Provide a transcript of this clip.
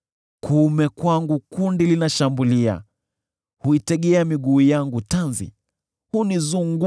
Kuume kwangu kundi linashambulia; wao huitegea miguu yangu tanzi, na kunizingira.